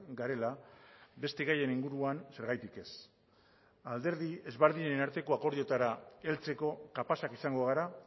garela beste gaien inguruan zergatik ez alderdi desberdinen arteko akordioetara heltzeko kapazak izango gara